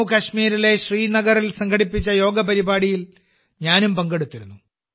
ജമ്മു കാശ്മീരിലെ ശ്രീനഗറിൽ സംഘടിപ്പിച്ച യോഗ പരിപാടിയിൽ ഞാനും പങ്കെടുത്തിരുന്നു